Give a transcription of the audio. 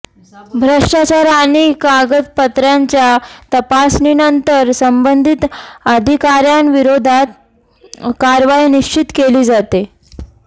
भ्रष्टाचार आणि कागदपत्रांच्या तपासणीनंतर संबंधिक अधिकाऱ्यांविरोधात कारवाई निश्चित केली जाते